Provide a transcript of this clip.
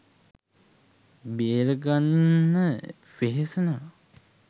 බේරගන්න වෙහෙසනවා